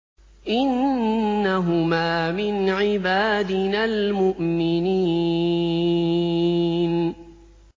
إِنَّهُمَا مِنْ عِبَادِنَا الْمُؤْمِنِينَ